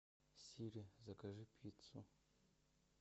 сири закажи пиццу